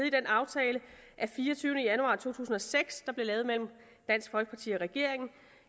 i den aftale af fireogtyvende januar to tusind og seks der blev lavet mellem dansk folkeparti og regeringen